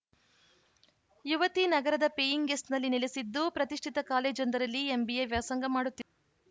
ಯುವತಿ ನಗರದ ಪೇಯಿಂಗ್‌ ಗೆಸ್ಟ್‌ನಲ್ಲಿ ನೆಲೆಸಿದ್ದು ಪ್ರತಿಷ್ಠಿತ ಕಾಲೇಜೊಂದರಲ್ಲಿ ಎಂಬಿಎ ವ್ಯಾಸಂಗ ಮಾಡುತ್ತಿದ್ದರು